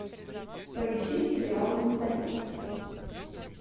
поищи сериал менталист